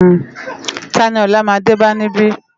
Táni òlá má dé bá nibi?